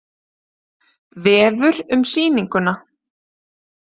Vefur um sýninguna